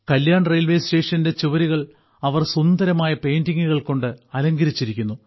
Kalyan railway സ്റ്റേഷന്റെ ചുവരുകൾ അവർ സുന്ദരമായ പെയിന്റിംഗുകൾ കൊണ്ട് അലങ്കരിച്ചിരിക്കുന്നു